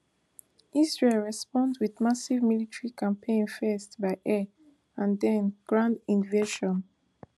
israel respond wit massive military campaign first by air and den ground invasion